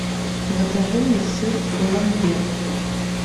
закажи мне сыр ламбер